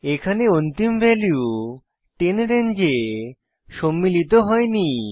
এখানে অন্তিম ভ্যালু 10 রেঞ্জে সম্মিলিত হইনি